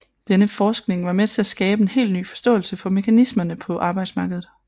Denne forskning var med til at skabe en helt ny forståelse for mekanismerne på arbejdsmarkedet